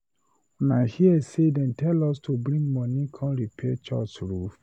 Una hear say they tell us to bring money come repair church roof?